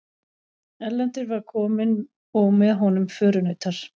Erlendur var kominn og með honum förunautar.